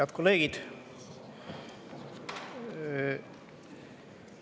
Head kolleegid!